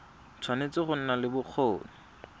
tshwanetse go nna le bokgoni